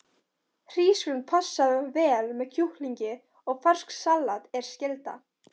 Hrísgrjón passa vel með kjúklingi og ferskt salat er skylda.